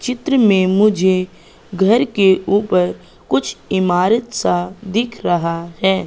चित्र में मुझे घर के ऊपर कुछ इमारत सा दिख रहा है।